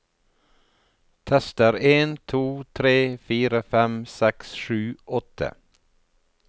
Tester en to tre fire fem seks sju åtte